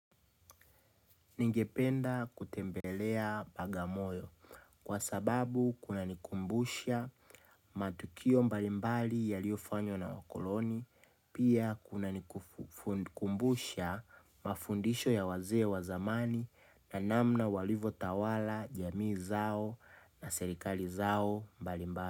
Ningependa kutembelea bagamoyo kwa sababu kuna nikumbusha matukio mbalimbali ya liofanywa na wakoloni, pia kuna nikumbusha mafundisho ya wazee wa zamani na namna walivotawala jamii zao na serikali zao mbalimbali.